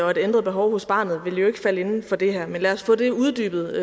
og et ændret behov hos barnet vil jo ikke falde inden for det her men lad os få det uddybet